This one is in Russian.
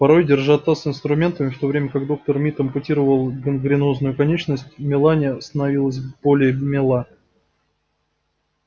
порой держа таз с инструментами в то время как доктор мид ампутировал гангренозную конечность мелани становилась белее мела